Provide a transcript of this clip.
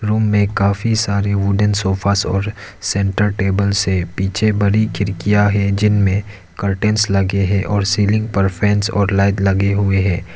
Room में काफी सारे उलेन सोफ़ा और सेंटर टेबल से पीछे बड़ी खिड़कियां है जिनमें कर्टेन्स लगे हैं और सीलिंग पर फैन्स और लाइट लगें हुए है।